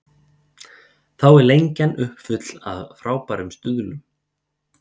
Þá er Lengjan uppfull af frábærum stuðlum.